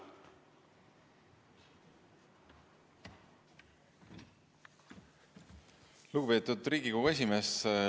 Lugupeetud Riigikogu esimees!